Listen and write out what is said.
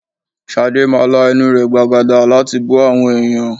Shade máa la ẹnu rẹ̀ gbàgàdà láti bú àwọn èèyàn.